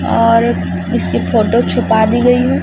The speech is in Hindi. और उस उसकी फोटो छुपा दी गई है।